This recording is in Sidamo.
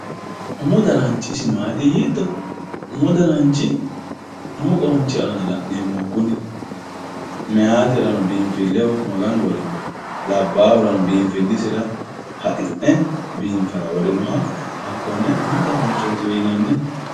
umu dananch isi maati yiito umu dananch umu qoonch aana la'neemoho kuni meyaaterano binfilleho maganu worinoho labaahurano biinfillisira haxi'ne biinfara worinoha hakkonne umu dananachootiwe yinanni.